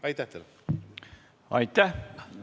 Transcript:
Aitäh!